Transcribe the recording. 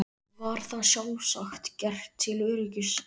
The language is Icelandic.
Var það sjálfsagt gert til öryggis.